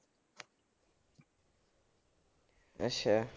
ਅੱਛਾ